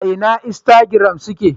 A ina instagram suke?